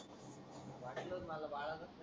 वाटलच मला बाळाकर,